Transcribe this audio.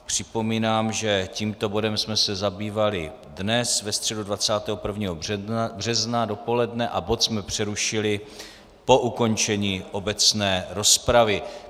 Připomínám, že tímto bodem jsme se zabývali dnes, ve středu 21. března dopoledne, a bod jsme přerušili po ukončení obecné rozpravy.